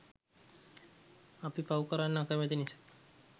අපි පව් කරන්න අකමැති නිසයි